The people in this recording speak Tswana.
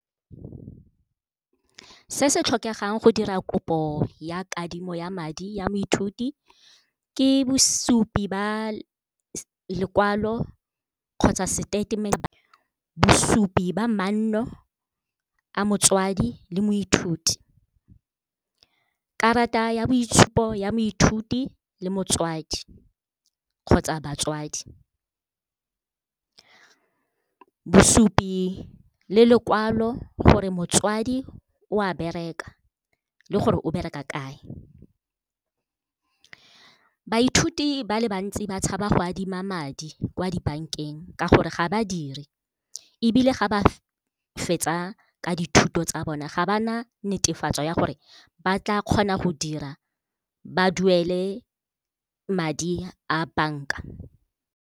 Se se tlhokegang go dira kopo ya kadimo ya madi ya moithuti ke bosupi ba lekwalo kgotsa statement-e, bosupi ba manno a motswadi le moithuti, karata ya boitshupo ya moithuti le motswadi kgotsa batswadi, bosupi le lekwalo gore motswadi o a bereka le gore o bereka kae. Baithuti ba le bantsi ba tshaba go adima madi kwa di-bank-eng ka gore ga badiri ebile ga ba fetsa ka dithuto tsa bona ga ba na netefatso ya gore ba tla kgona go dira ba duele madi a bank-a.